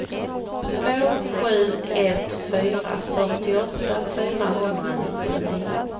två sju ett fyra fyrtioåtta fyrahundranittionio